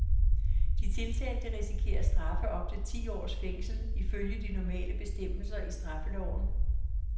De tiltalte risikerer straffe op til ti års fængsel ifølge de normale bestemmelser i straffeloven.